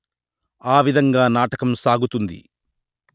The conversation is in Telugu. ఆ విధంగా నాటకం సాగుతుంది